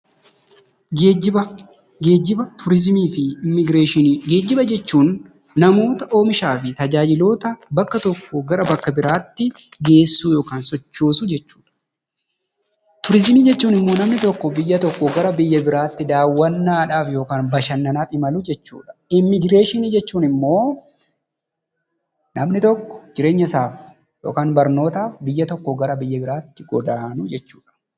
Geejjiba, Turiizimii fi immigireeshinii. Geejjiba jechuun namoota oomishaa fi tajaajiltoota bakka tokkoo gara bakka biraatti geessuu yookaan sochoosuu jechuudha. Turiizimii jechuun immoo namni tokko biyya tokkoo gara biyya biraatti daawwannaadhaaf yookaan bashannanaaf imaluu jechuudha. Immigireeshinii jechuun immoo namni tokko jireenyasaaf yookaan immoo barnootaaf biyya tokkoo gara biyya biraatti godaanuu jechuudha.